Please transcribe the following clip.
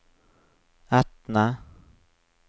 Etne